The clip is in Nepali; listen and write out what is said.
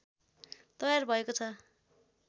तयार भएको छ